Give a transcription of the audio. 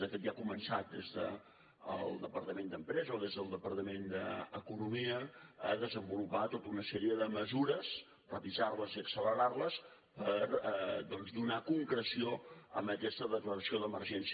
de fet ja s’ha començat des del departament d’empresa o des del departament d’economia a desenvolupar tota una sèrie de mesures revisar les i accelerar les per doncs donar concreció a aquesta declaració d’emergència